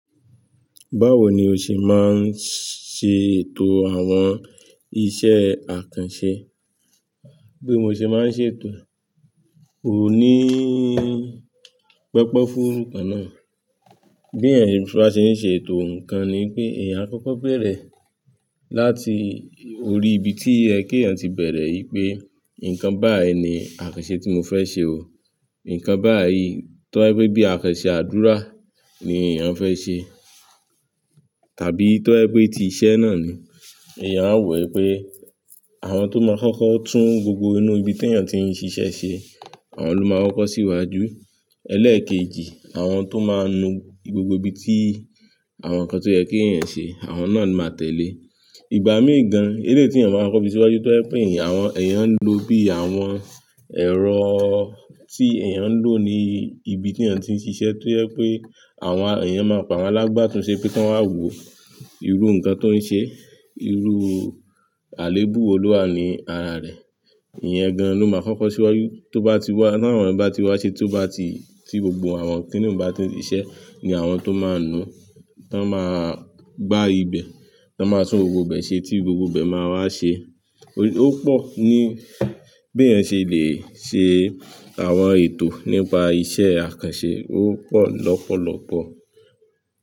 Báwo ni o ṣe máa ń ṣe ètò àwọn iṣẹ́ àkànṣe? Bí mo ṣe máa ń ṣe ètò, kò ní pẹpẹ fún orúkọ náà. Bí èyàn bá ṣe ń ṣe ètò ǹkan ni pé èyàn á kọ́kọ́ bẹ̀rẹ̀ láti orí ibi tí ẹ kí èyàn ti bẹ̀rẹ̀ yìí pé nǹkan báyìí ni àkànṣe tí mo fẹ́ ṣe o. Nǹkan báyìí tó ẹ pé bí àkànṣe àdúrà ni èyàn fẹ́ ṣe tàbí tó ẹ pé ti iṣẹ́ náà ni, èyàn á wẹ̀ pé àwọn tó máa kọ́kọ́ tún gbogbo inú ibi tí èyàn ti ń ṣiṣẹ́ ṣe, àwọn ló máa koko síwájú. Ẹlẹ́ẹ̀kejì, àwọn tó máa nu gbogbo ibi tí àwọn ǹkan tó yẹ kí èyàn ṣe, àwọn náà ni máa tẹ̀lé. Ìgbà mii gan, eleyi ti èyàn máa koko fi síwájú tó ẹ pé èyàn ń lo bí àwọn ẹ̀rọ tí èyàn ń lò ní ibi tí èyàn ti ń ṣiṣẹ́ tó ẹ pé àwọn èyàn máa pamọ́ alágbátunṣe pé kí wọ́n máa wò irú ǹkan tó ń ṣe, irú àléébù wo lo wa ni ara rẹ̀. Ìyẹn gan-an ló máa kọ́kọ́ síwájú tó bá ti wá, náà àwọn ẹ̀yin bá ti wá ṣe tó bá ti, tí gbogbo àwọn kìnìún bá ti ṣiṣẹ́ ni àwọn tó máa nu, tó máa gbá ibẹ̀, tó máa tún gbogbo ibẹ̀ ṣe tí gbogbo ibẹ̀ máa wá ṣe. Ó pọ̀ ní bí èyàn ṣe lè ṣe àwọn ètò nípa iṣẹ́ àkànṣe, ó pọ̀ lọ́pọ̀lọ́pọ̀.